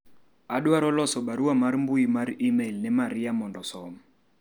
adwaro loso barua mar mbui mar email ne maria mondo osom